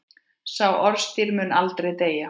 Sá orðstír mun aldrei deyja.